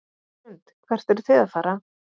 Hrund: Hvert eruð þið að fara?